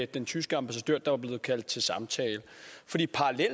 den tyske ambassadør der var blevet kaldt til samtale